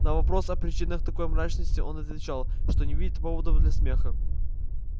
на вопрос о причинах такой мрачности он отвечал что не видит поводов для смеха